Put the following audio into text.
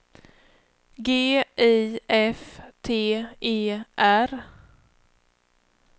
G I F T E R